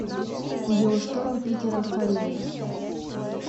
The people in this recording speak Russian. геошторм питера фаррелли